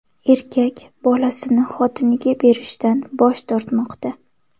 Erkak bolasini xotiniga berishdan bosh tortmoqda.